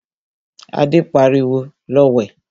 Adé pariwo, 'Lọ wẹ̀'